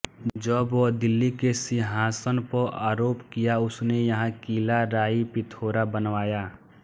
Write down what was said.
जब वह दिल्ली के सिंहासन पर आरोह किया उसने यहाँ किला राइ पिथोरा बनवाया